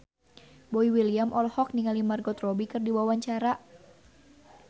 Boy William olohok ningali Margot Robbie keur diwawancara